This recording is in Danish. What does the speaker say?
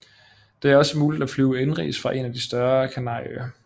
Det er også mulig at flyve indenrigs fra en af de større Kanarieøer